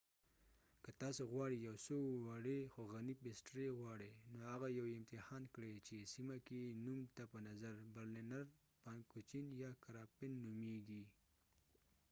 که تاسو غواړې یو څو وړې خو غني پېسټرۍ غواړئ نو هغه یوې امتحان کړئ چې سیمه کې يې نوم ته په نظر برلنر فانکوچېن یا کراپفن نومیږي